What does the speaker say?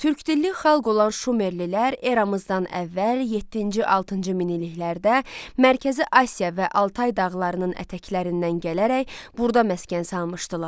Türkdilli xalq olan Şumerlilər eramızdan əvvəl yeddinci-altıncı minilliklərdə Mərkəzi Asiya və Altay dağlarının ətəklərindən gələrək burada məskən salmışdılar.